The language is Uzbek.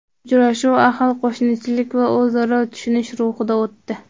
Uchrashuv ahil qo‘shnichilik va o‘zaro tushunish ruhida o‘tdi.